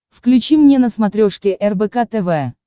включи мне на смотрешке рбк тв